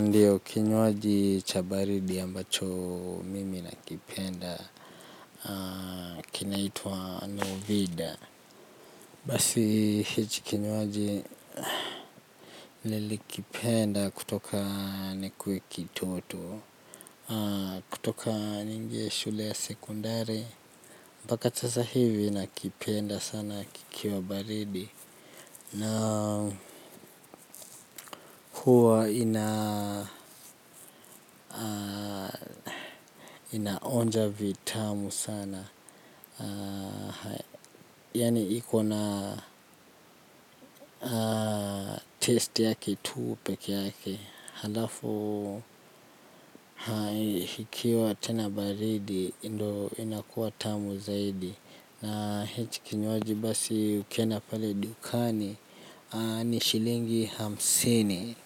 Ndio kinywaji cha baridi ambacho mimi nakipenda kina itwa Novida basi hichi kinywaji nilikipenda kutoka nikuwe kitoto kutoka nyingi ya shule ya sekondari. Mbaka sasa hivi nakipenda sana kikiwa baridi. Na huwa inaonja vitamu sana. Yani ikona test yake tu peke yake halafu ikiwa tena baridi hii ndo inakuwa tamu zaidi na hichi kinywaji basi ukienda pale dukani ni shilingi hamsini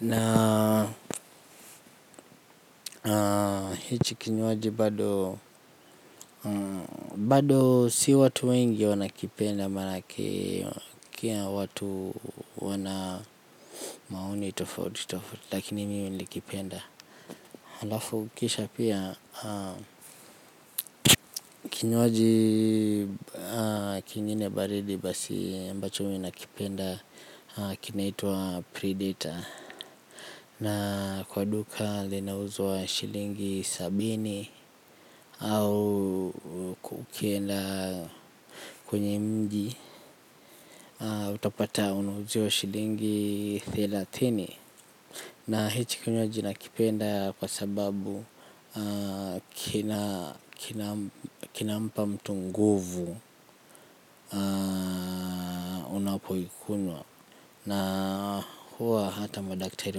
na hichi kinywaji bado bado si watu wengi wanakipenda maanake kia watu wana maoni tofauti tofauti lakini mimi nikipenda. Halafu kisha pia, kinywaji kingine baridi basi ambacho mimi nakipenda kinaitwa predator na kwa duka linauzwa shilingi sabini au ukienda kwenye mji utapata unauziwa shilingi thelathini na hiki kinywaji nakipenda kwa sababu kinampa mtu nguvu unapoikunywa na huwa hata madaktari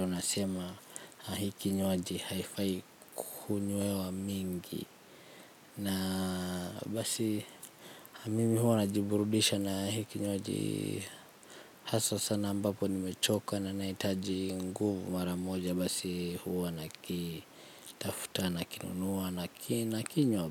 wanasema hii kinywaji haifai kunywewa mingi na basi mimi huwa najiburudisha na hii kinywaji haswa sana ambapo nimechoka na nahitaji nguvu maramoja basi huwa na kitafuta na kinunua na kinywa.